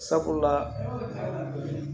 Sabula